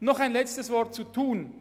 Noch ein letztes Wort zu Thun: